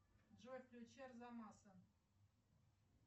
джой включи арзамаса